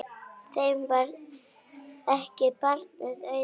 Þeim varð ekki barna auðið.